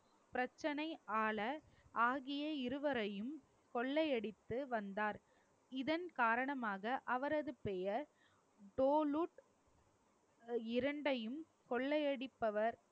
பிரச்சனையால ஆகிய இருவரையும் கொள்ளையடித்து வந்தார். இதன் காரணமாக அவரது பெயர் ஆஹ் இரண்டையும் கொள்ளையடிப்பவர்